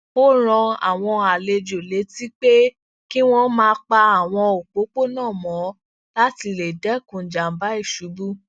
ó rán àwọn àlejò létí pé kí wón máa pa àwọn òpópónà mọ lati le dẹkun janba iṣubú